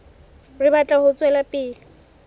re batla ho tswela pele